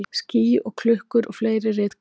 Ský og klukkur og fleiri ritgerðir.